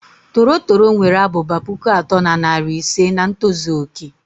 Toro toro nwere abụba pụkụ atọ na narị ise nà ntozu oké.